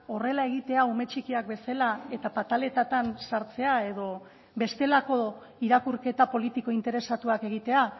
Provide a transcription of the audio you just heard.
horrela egitea ume txikiak bezala eta pataletatan sartzea edo bestelako irakurketa politiko interesatuak egitea